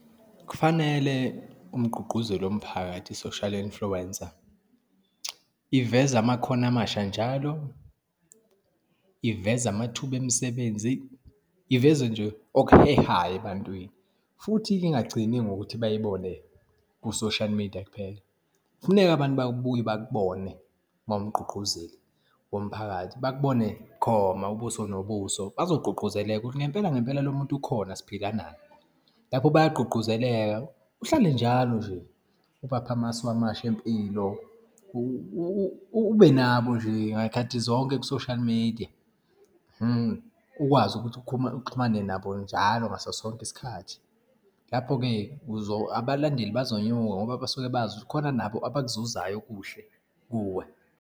Kufanele umgqugquzeli womphakathi, i-social influencer iveze amakhono amasha njalo, iveze amathuba emisebenzi, iveze nje okuhehayo, ebantwini, futhi-ke ingagcini ngokuthi bayibone ku-social media kuphela. Kufuneke abantu babuye bakubone uma uwumgqugquzeli womphakathi bakubone bukhoma ubuso nobuso, bazogqugquzeleka ukuthi ngempela ngempela lo muntu ukhona, siphila naye. Lapho bayagqugquzeleka. Uhlale njalo nje ubapha amasu amasha empilo, ube nabo nje ngayikhathi zonke ku-social media. Ukwazi ukuthi uxhumane nabo njalo ngaso sonke isikhathi. Lapho-ke abalandeli bazonyuka ngoba basuke bazi khona nabo abakubuzayo okuhle kuwe.